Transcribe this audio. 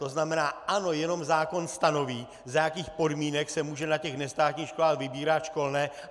To znamená, ano, jenom zákon stanoví, za jakých podmínek se může na těch nestátních školách vybírat školné.